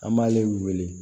An b'ale wele